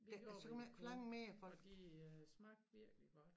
Vi gjorde hvad vi kunne og de øh smagte virkelig godt